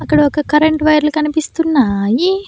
అక్కడ ఒక కరెంటు వైర్లు కనిపిస్తున్నాయి.